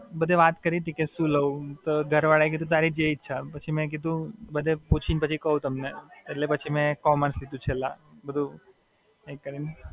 બરાબર છે પણ science માં પછી બધુ chemistry આઈ જાય તો physics ને એ થી જાય, physics, maths પણ chemistry જરા પણ આવડતું નથી.